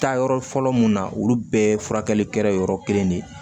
Taa yɔrɔ fɔlɔ mun na olu bɛɛ ye furakɛli kɛra yɔrɔ kelen de ye